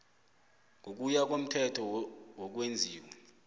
ngokuya komthetho wokwenziwa